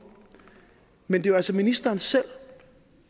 men det er jo altså ministeren selv